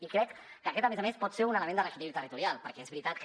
i crec que aquest a més a més pot ser un element de reequilibri territorial perquè és veritat que